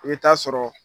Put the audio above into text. I bɛ taa sɔrɔ